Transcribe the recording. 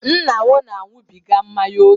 Nna m na-aṅụbiga mmanya oke